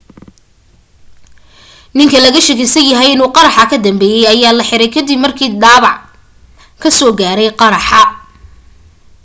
ninka laga shakisanahay inuu qaraxa ka dambeeyey ayaa la xiray ka dib markuu dhaabac kasoo gaaray qaraxa